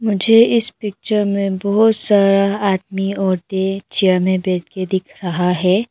मुझे इस पिक्चर में बहोत सारा आदमी औरते चेयर में बैंठ के दिख रहा है।